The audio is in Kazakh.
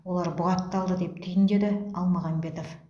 олар бұғатталды деп түйіндеді алмағамбетов